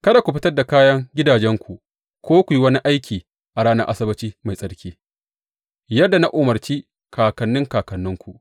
Kada ku fitar da kayan gidajenku ko ku yi wani aiki a ranar Asabbaci mai tsarki, yadda na umarci kakanni kakanninku.